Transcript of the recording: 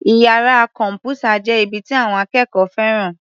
Iyàrá kọ̀m̀pútà jẹ́ ibi tí àwọn akẹ́kọ̀ọ́ fẹ́ràn.